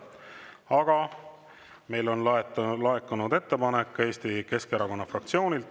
Aga meile on laekunud ettepanek Eesti Keskerakonna fraktsioonilt.